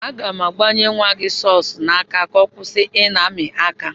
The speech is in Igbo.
Aga m agbanye nwa gị sọks n'aka ka ọ kwụsị ị na-amị aka.